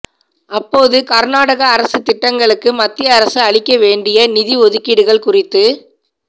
அப்போது கர்நாடக அரசுத் திட்டங்களுக்கு மத்திய அரசு அளிக்க வேண்டிய நிதி ஒதுக்கீடுகள் குறித்து